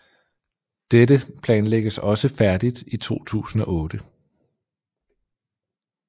Dette planlægges også færdigt i 2008